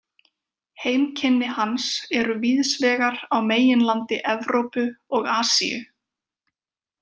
Heimkynni hans eru víðsvegar á meginlandi Evrópu og Asíu.